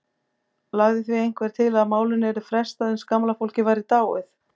Lagði því einhver til að málinu yrði frestað uns gamla fólkið væri dáið.